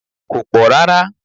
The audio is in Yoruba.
It's not that much